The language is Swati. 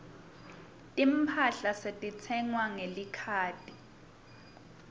timphahla setitsengwa ngelikhadi